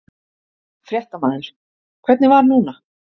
Fréttamaður: Hvernig var núna?